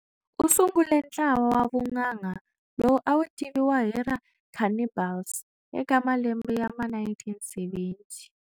U sungule ntlawa wa vunanga lowu a wu tiviwa hi ra Cannibals eka malembe ya ma 1970.